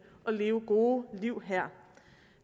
og leve gode liv her